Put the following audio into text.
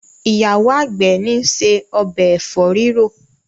ìyàwó àgbè ni ṣe Ọbẹ̀ efo rirọ.